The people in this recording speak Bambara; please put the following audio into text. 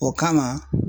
O kama